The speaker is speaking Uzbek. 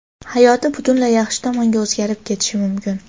hayoti butunlay yaxshi tomonga o‘zgarib ketishi mumkin.